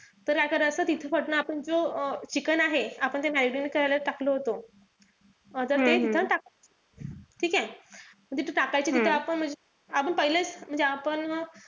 तर काय करायचं तिथे आपण जो chicken आहे, आपण ते marinate करायला टाकलं होत. आता ते तिथे टाकायचं. ठीकेय? म्हणजे ते तिथे टाकायचं आपण आपण पहिलेच म्हणजे आपण,